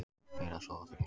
Fer að sofa á þriðjudaginn